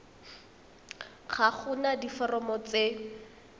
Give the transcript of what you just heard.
ga go na diforomo tse